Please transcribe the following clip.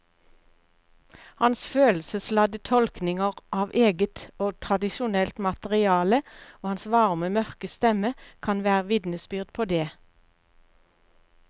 Hans følelsesladde tolkninger av eget og tradisjonelt materiale og hans varme mørke stemme kan være vitnesbyrd på det.